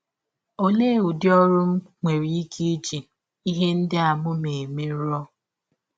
Ọlee ụdị ọrụ ndị m nwere ike iji ihe ndị m ma eme rụọ?